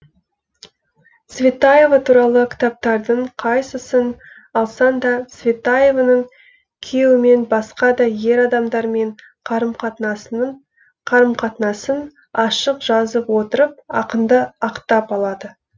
цветаева туралы кітаптардың қайсысын алсаң да цветаеваның күйеуімен басқа да ер адамдармен қарым қатынасын ашық жазып отырып ақынды ақтап алады